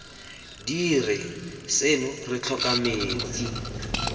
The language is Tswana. dire seno re tlhoka metsi